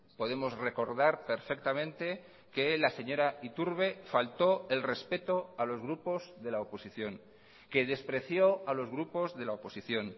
podemos recordar perfectamente que la señora iturbe faltó el respeto a los grupos de la oposición que despreció a los grupos de la oposición